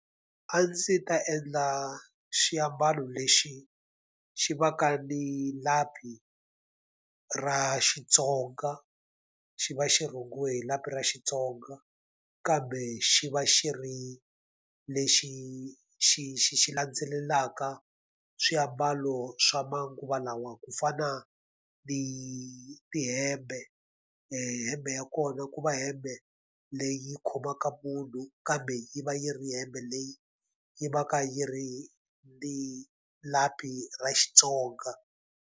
A ndzi ta endla xiambalo lexi xi va ka ni lapi ra Xitsonga, xi va xi rhungiwe hi lapi ra Xitsonga, kambe xi va xi ri lexi xi xi xi landzelelaka swiambalo swa manguva lawa ku fana ni tihembe. Hembe ya kona ku va hembe leyi khomaka munhu kambe yi va yi ri hembe leyi yi va ka yi ri ni lapi ra Xitsonga.